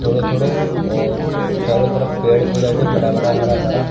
थोड़ो थोड़ो और चारो तरफ़ पेड़ पौधा छे बड़ा बड़ा हरा भरा।